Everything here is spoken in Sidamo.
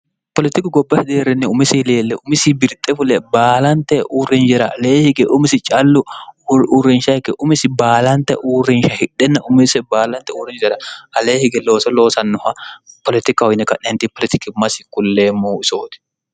politiku goba hideerrenni umise ileelle umisi birxe fule baalante uurrinjera lee hige umisi callu uurrinshaikke umisi baalante uurrinsha hidhenna umise baalante uurrinjera alee hige looso loosannoha politikka uyinne ka'neenti poolitikimmasi kulleemmou isooti